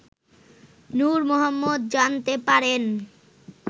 নূর মোহাম্মদ জানতে পারেন